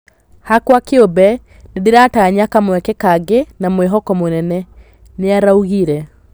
Hakwa kĩũmbe, nĩndĩratanya kamweke kangĩ na mwĩhoko mũnene, " nĩaraugire.